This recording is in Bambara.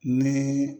Ni